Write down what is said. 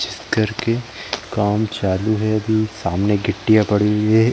जिस घर के काम चालू है अभी सामने गिट्टीयाँ पड़ी हुई है।